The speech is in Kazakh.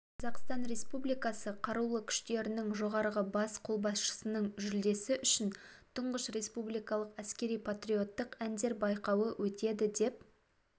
қазақстан республикасы қарулы күштерінің жоғарғы бас қолбасшысының жүлдесі үшін тұңғыш республикалық әскери-патриоттық әндер байқауы өтеді деп